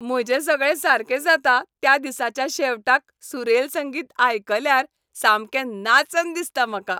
म्हजें सगळें सारकें जाता त्या दिसाच्या शेवटाक सुरेल संगीत आयकल्यार सामकें नाचन दिसता म्हाका.